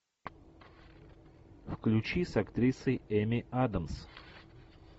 включи с актрисой эми адамс